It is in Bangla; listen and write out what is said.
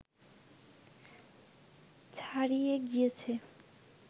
ছাড়িয়ে গিয়েছে